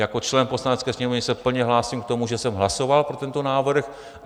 Jako člen Poslanecké sněmovny se plně hlásím k tomu, že jsem hlasoval pro tento návrh.